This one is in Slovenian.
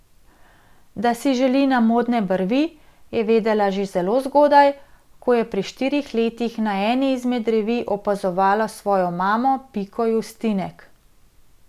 Da si želi na modne brvi, je vedela že zelo zgodaj, ko je pri štirih letih na eni izmed revij opazovala svojo mamo Piko Justinek.